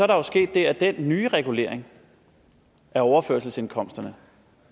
der sket det at den nye regulering af overførselsindkomsterne